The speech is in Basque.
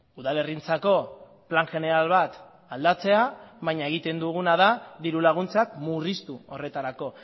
udalerrientzako plan jeneral bat aldatzea baina egiten duguna da dirulaguntzak murriztu horretarako